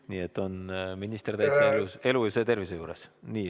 Nii et minister on täie elu ja tervise juures.